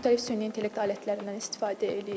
müxtəlif süni intellekt alətlərindən istifadə eləyirik.